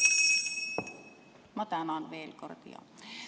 Ma tänan veel kord!